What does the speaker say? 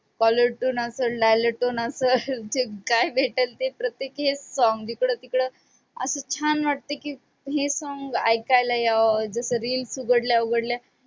callertune असंल, dialer tune असंल, काय भेटल ते प्रत्येकी हेच song. जिकडं-तिकडं असं छान वाटतं की हे song ऐकायला यावं, जसं reels उघडल्या उघडल्या